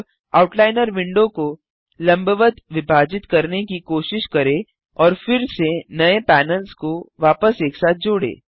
अब outliner window को लंबवत विभाजित करने की कोशिश करें और फिर से नये पैनल्स को वापस एक साथ जोड़ें